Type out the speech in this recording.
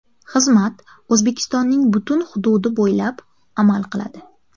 Xizmat O‘zbekistonning butun hududi bo‘ylab amal qiladi.